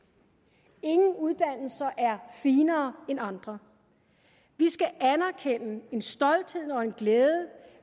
ingen uddannelser er finere end andre vi skal anerkende en stolthed og en glæde